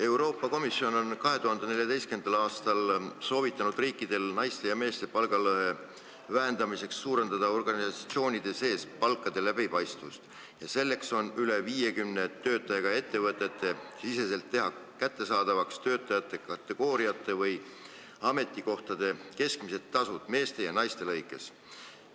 Euroopa Komisjon soovitas 2014. aastal riikidel naiste ja meeste palgalõhe vähendamiseks suurendada organisatsioonide sees palkade läbipaistvust ja selleks teha üle 50 töötajaga ettevõtetes kättesaadavaks töötajakategooriate või ametikohtade keskmised tasud meeste ja naiste arvestuses.